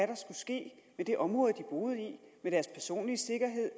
der skulle ske med det område de boede i med deres personlige sikkerhed